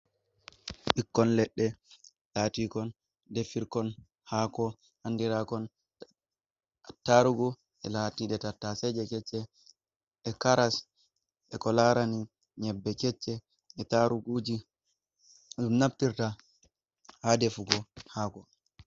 Bikkoi kon leɗɗe latikon defirkon hako andirakon tarugu e latie tataseje kecce e caras e ko larani nyebbe kecce e taruguji dum naftirta ha defugo hako.